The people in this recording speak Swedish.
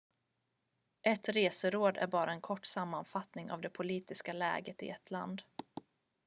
ett reseråd är bara en kort sammanfattning av det politiska läget i ett land